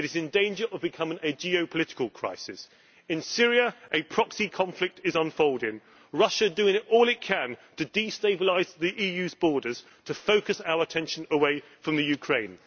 It is in danger of becoming a geo political crisis. In Syria, a proxy conflict is unfolding. Russia is doing all it can to destabilise the EU's borders to focus our attention away from the Ukraine.